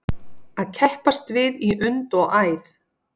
Að keppast við í und og æð